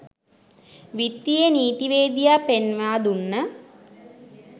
විත්තියේ නීතිවේදියා පෙන්වා දුන්න